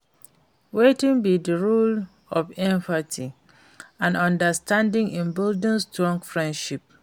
Wetin be di role of empathy and understanding in building strong frienships?